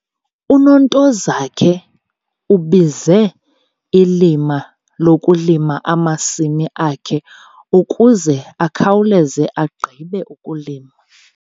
UNontozakhe ubize ilima lokulima amasimi akhe ukuze akhawuleze agqibe ukulima.